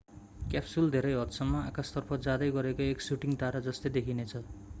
capsule धेरै हदसम्म आकाशतर्फ जाँदै गरेको एक शूटिंग तारा जस्तै देखिनेछ